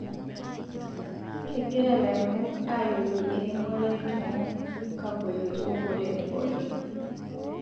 kegira laremok ayiolou eremore to nkagolot oonkolongi pookin